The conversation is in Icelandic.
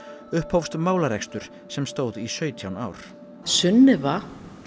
upphófst málarekstur sem stóð í sautján ár Sunnefa